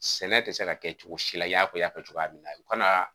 Sɛnɛ tɛ se ka kɛ cogosi la i y'a fɔ i y'a fɔ cogoya min na kanaa